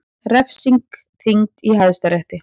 Refsing þyngd í Hæstarétti